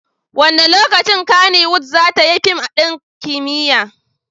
Wane lokaci Kannywood za ta yi fim ɗin kimiyya?